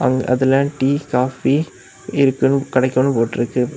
அதுல tea coffee இருக்கணும் கிடைக்கணும்னு போட்டு இருக்கு.